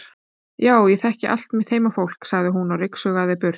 Já ég þekki allt mitt heimafólk, sagði hún og rigsaði burt.